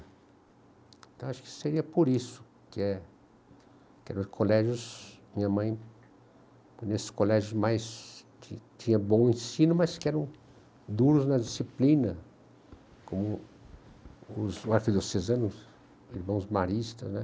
Então, acho que seria por isso que é eram os colégios, minha mãe, que nesses colégios mais que tinha bom ensino, mas que eram duros na disciplina, como os, irmãos maristas, né?